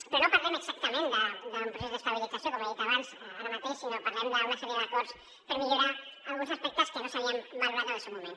però no parlem exactament d’un procés d’estabilització com he dit abans ara mateix sinó que parlem d’una sèrie d’acords per millorar alguns aspectes que no s’havien valorat en el seu moment